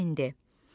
Attdan endi.